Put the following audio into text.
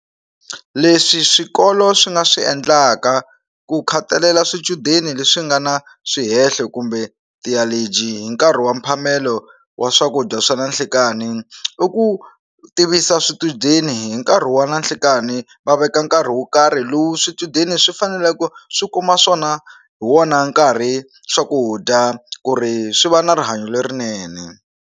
Leswi swikolo swi nga swi endlaka ku khathalela swichudeni leswi nga na swihenhlo kumbe ti allergy hi nkarhi wa mphamelo wa swakudya swa na nhlikani i ku tivisa swichudeni hi nkarhi wa na nhlikani va veka nkarhi wo karhi lowu swichudeni swi fanele ku swi kuma swona hi wona nkarhi swakudya ku ri swi va na rihanyo lerinene.